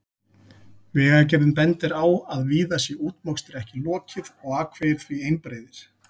Vegagerðin bendir á að víða sé útmokstri ekki lokið og akvegir því einbreiðir.